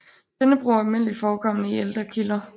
Denne brug er almindeligt forekommende i ældre kilder